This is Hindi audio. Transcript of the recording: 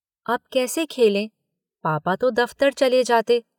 अब कैसे खेलें। पापा तो दफ्तर चले जाते।